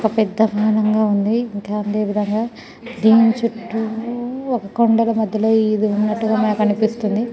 వక పెద్ద బవనం గా ఉంది ఇంకా అధేవిధంగా దేని చుట్టూ వక కొనడల్లా మధ్యలో ఇది ఉన్నట్టుగా మనకు అనిపిస్తుంది .